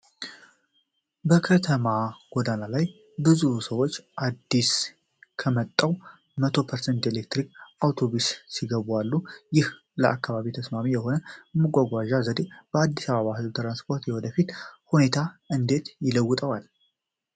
በከተማ ጎዳና ላይ ብዙ ሰዎች አዲስ ወደመጣው '100% ኤሌክትሪክ' አውቶቡስ ሲገቡ አሉ፤ ይህ ለአካባቢ ተስማሚ የሆነ የመጓጓዣ ዘዴ የአዲስ አበባን የህዝብ ትራንስፖርት የወደፊት ሁኔታ እንዴት ይለውጠዋል?